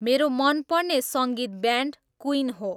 मेरो मनपर्ने सङ्गीत ब्यान्ड क्विन हो